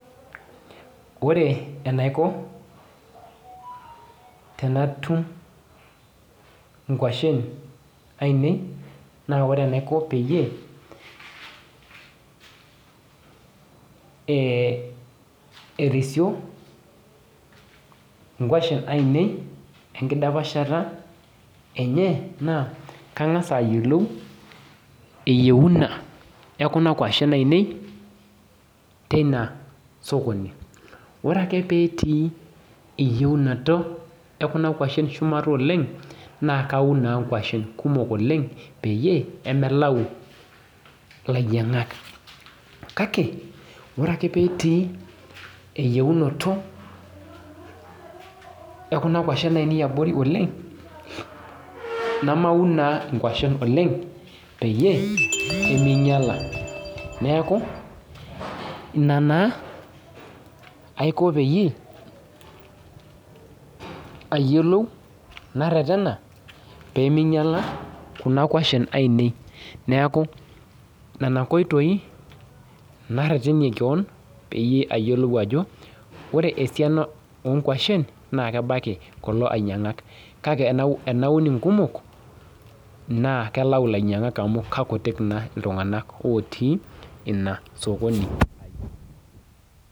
Ore enaiko tenatum inkuashen ainei naa ore enaiko peyie eh erisio nkuashen ainei enkidapashata enye naa kang'as ayiolou eyieuna ekuna kuashen ainei teina sokoni ore ake petii eyiaunoto ekuna kuashen shumata oleng naa kaun naa nkuashen kumok oleng peyie emelau lainyiang'ak kake ore ake petii eyiunoto ekuna kuashen ainei abori oleng namaun naa inkuashen oleng peyie eminyiala neeku ina naa aiko peyie ayiolou narretena pemeinyiala kuna kuashen ainei neeku nana nkoitoi narretenie keon peyie ayiolou ajo ore esiana onkuashen naa kebaki kulo ainyiang'ak kake enau enaun inkumok naa kelau ilainyiang'ak amu kakutik naa iltung'anak otii ina sokoni ai.